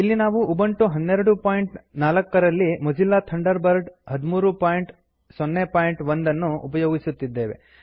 ಇಲ್ಲಿ ನಾವು ಉಬಂಟು 1204 ರಲ್ಲಿ ಮೊಜಿಲ್ಲಾ ಥಂಡರ್ ಬರ್ಡ್ 1301 ಅನ್ನು ಉಪಯೋಗಿಸುತ್ತಿದ್ದೇವೆ